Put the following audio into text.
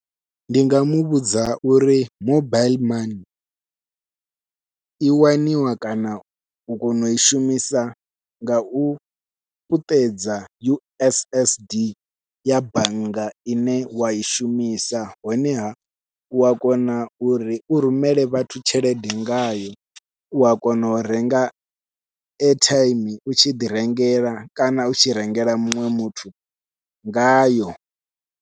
Ndi nga muvhudza uri mobaiḽi mani i waniwa kana u kona u i shumisa ngau puṱedza U_S_S_D ya bannga ine wai shumisa, honeha u a kona uri u rumele vhathu tshelede ngayo ua kona u renga aithaimi u tshi ḓi rengela kana u tshi rengela muṅwe muthu ngayo.